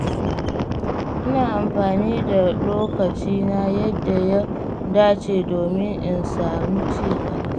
Ina amfani da lokacina yadda ya dace domin in samu ci gaba.